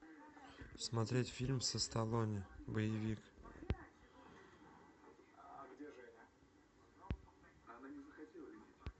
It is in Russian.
смотреть фильм со сталоне боевик